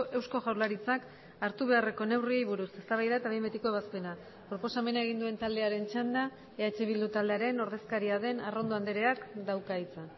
eusko jaurlaritzak hartu beharreko neurriei buruz eztabaida eta behin betiko ebazpena proposamena egin duen taldearen txanda eh bildu taldearen ordezkaria den arrondo andreak dauka hitza